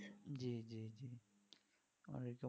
জি জি জি .